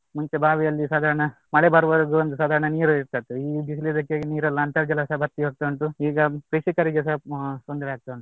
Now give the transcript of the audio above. ಮುಂಚೆ ಬಾವಿಯಲ್ಲಿ ಸಾಧಾರಣ ಮಳೆ ಬರುವವರೆಗೂ ಒಂದು ಸಾಧಾರಣ ನೀರು ಇರ್ತ ಇತ್ತು ಈ ಬಿಸಿಲಿದಕ್ಕೆ ನೀರೆಲ್ಲ ಅಂತರ್ಜಾಲಾಸ ಬತ್ತಿ ಹೋಗ್ತಾ ಉಂಟು. ಈಗ ಕೃಷಿಕರಿಗೆಸ ತೊಂದ್ರೆ ಆಗ್ತಾ ಉಂಟು.